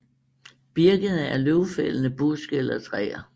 Birkene er løvfældende buske eller træer